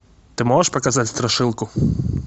ты можешь показать страшилку